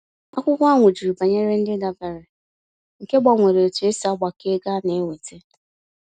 Akwụkwọ ahụ jụrụ banyere ndị ndabere, nke gbanwere etu e si agbakọ ego a na-enwete.